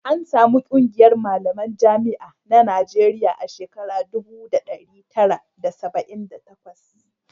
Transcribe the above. an samar ƙungiyar malaman jami'an na Najeriya a shekara dubu daya da dari tara da saba'in da takwas